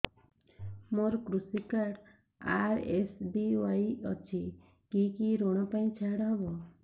ମୋର କୃଷି card RSBY ଅଛି କି କି ଋଗ ପାଇଁ ଛାଡ଼ ହବ